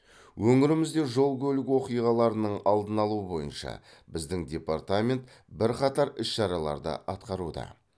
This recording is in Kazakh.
өңірімізде жол көлік оқиғаларының алдын алу бойынша біздің департамент бірқатар іс шараларды атқаруда